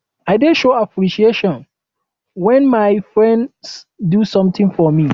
um i dey show appreciation wen my friends do sometin for me